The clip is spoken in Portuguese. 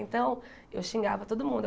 Então, eu xingava todo mundo.